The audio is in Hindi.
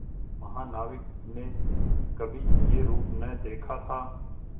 महानाविक ने कभी यह रूप न देखा था